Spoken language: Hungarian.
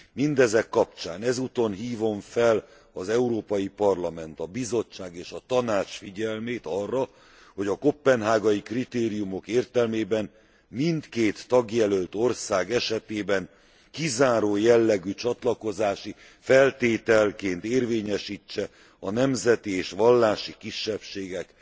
Mindezek kapcsán, ezúton hívom fel az Európai Parlament, a Bizottság és a Tanács figyelmét arra, hogy a koppenhágai kritériumok értelmében mindkét tagjelölt ország esetében kizáró jellegű csatlakozási feltételként érvényesítse a nemzeti és vallási kisebbségek